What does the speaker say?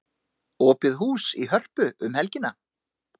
Opið hús í Hörpu um helgina